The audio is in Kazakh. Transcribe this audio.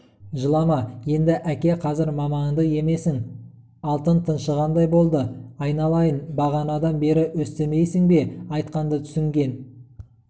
жылама енді әке қазір мамаңды емесің алтын тыншығандай болды айналайын бағанадан бері өстімейсің бе айтқанды түсінген